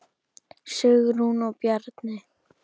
Sigrún og Bjarni.